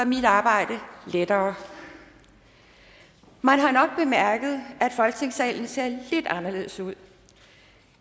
mit arbejde lettere man har nok bemærket at folketingssalen ser lidt anderledes ud